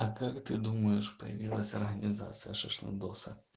а как ты думаешь появилась организация шашлындоса